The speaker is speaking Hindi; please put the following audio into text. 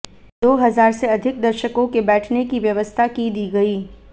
दो हजार से अधिक दर्शकों के बैठने की व्यवस्था की दी गई